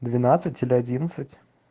двенадцать или одинадцать